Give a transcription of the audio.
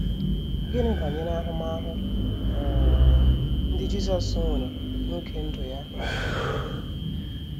Gịnị banyere ahụmahụ um ndị Jisọs nwere n’oge ndụ ya n’ụwa?